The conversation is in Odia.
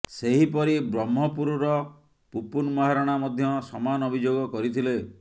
ସେହିପରି ବ୍ରହ୍ମପୁରର ପୁପୁନ୍ ମହାରଣା ମଧ୍ୟ ସମାନ ଅଭିଯୋଗ କରିଥିଲେ